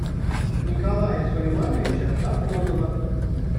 николая сулеймановича сафонова